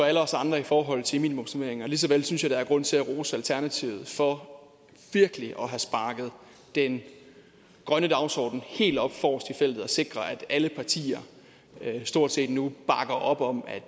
alle os andre i forhold til minimumsnormeringer lige så vel synes jeg der er grund til at rose alternativet for virkelig at have sparket den grønne dagsorden helt op forrest i feltet og sikret at alle partier stort set nu bakker op om at